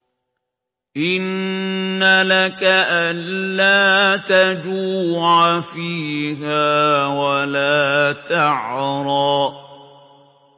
إِنَّ لَكَ أَلَّا تَجُوعَ فِيهَا وَلَا تَعْرَىٰ